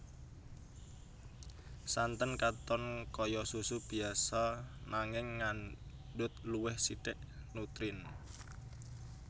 Santen katon kaya susu biasa nanging ngandhut luwih sithik nutrien